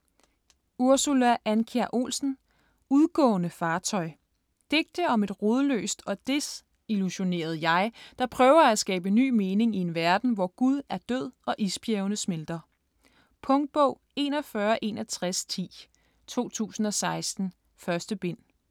Andkjær Olsen, Ursula: Udgående fartøj Digte om et rodløst og desillusioneret jeg, der prøver at skabe ny mening i en verden, hvor Gud er død og isbjergene smelter. Punktbog 416110 2016. 1 bind.